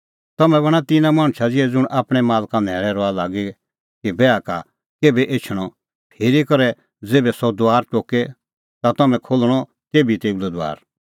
तम्हैं बणां तिन्नां मणछ ज़िहै ज़ुंण आपणैं मालका न्हैल़ै रहा लागी कि बैहा का केभै एछणअ फिरी कि ज़ेभै सह दुआर टोके ता तेभै खोल्हणअ तेभी तेऊ लै दुआर